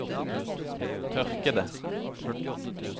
tørkede